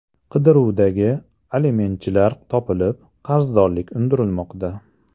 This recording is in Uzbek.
Qidiruvdagi alimentchilar topilib, qarzdorlik undirilmoqda.